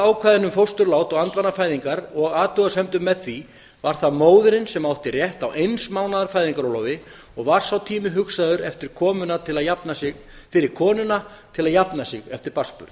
ákvæðinu um fósturlát og andvanafæðingar og athugasemdum með því var það móðirin sem átti rétt á eins mánaðar fæðingarorlofi og var sá tími hugsaður fyrir konuna til að jafna sig eftir barnsburð